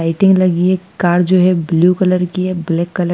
lighting लगी है car जो है ब्लू कलर की है ब्लैक कलर --